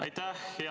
Aitäh!